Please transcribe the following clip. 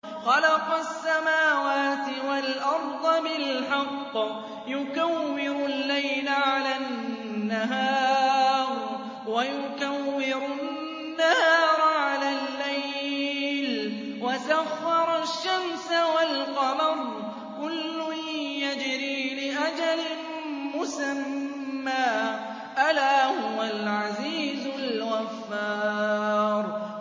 خَلَقَ السَّمَاوَاتِ وَالْأَرْضَ بِالْحَقِّ ۖ يُكَوِّرُ اللَّيْلَ عَلَى النَّهَارِ وَيُكَوِّرُ النَّهَارَ عَلَى اللَّيْلِ ۖ وَسَخَّرَ الشَّمْسَ وَالْقَمَرَ ۖ كُلٌّ يَجْرِي لِأَجَلٍ مُّسَمًّى ۗ أَلَا هُوَ الْعَزِيزُ الْغَفَّارُ